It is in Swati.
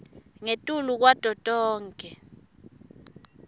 ngetulu kwato tonkhe